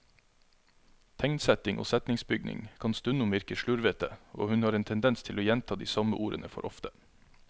Tegnsetting og setningsbygning kan stundom virke slurvete, og hun har en tendens til å gjenta de samme ordene for ofte.